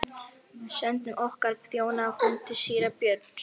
Sendum okkar þjóna á fund síra Björns.